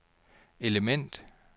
element